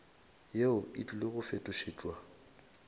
yeo e tlile go fetošetšwa